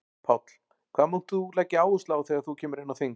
Páll: Hvað munt þú leggja áherslu á þegar þú kemur inn á þing?